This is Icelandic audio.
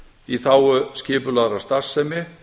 í þágu skipulagðrar starfsemi